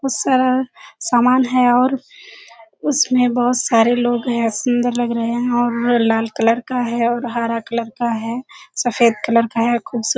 बहुत सारा समान है और उसमें बहुत सारे लोग हैं। सुन्‍दर लग रहें हैं और लाल कलर का है और हरा कलर का है सफेद कलर का है। खूबसू --